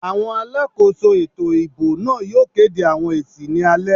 Àwọn alákòóso ètò ìbò náà yóò kéde àwọn èsì ní alẹ́